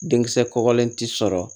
Denkisɛ kɔkɔlen ti sɔrɔ